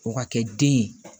O ka kɛ den ye